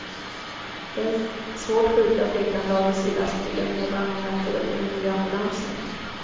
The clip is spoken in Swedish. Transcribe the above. Den svårt sjuka flickan lades i lastbilen medan man väntade på den nya ambulansen.